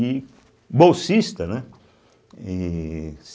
E... Bolsista, né? êh